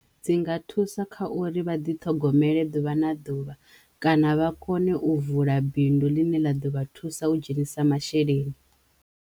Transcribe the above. Dzi nga thusa kha uri vha ḓiṱhogomele ḓuvha na ḓuvha kana vha kone u vula bindu ḽine ḽa ḓo vha thusa u dzhenisa masheleni.